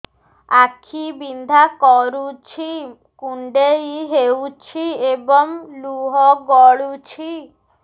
ଆଖି ବିନ୍ଧା କରୁଛି କୁଣ୍ଡେଇ ହେଉଛି ଏବଂ ଲୁହ ଗଳୁଛି